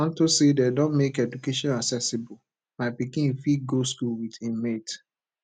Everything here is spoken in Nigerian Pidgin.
unto say dey don make education accessible my pikin fit go school with im mate